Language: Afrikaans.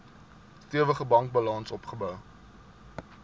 stewige bankbalans opgebou